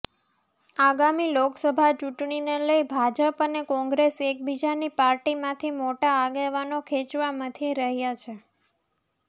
આગામી લોકસભા ચૂંટણીને લઇ ભાજપ અને કોંગ્રેસ એકબીજાની પાર્ટીમાંથી મોટા આગેવાનો ખેંચવા મથી રહ્યા છે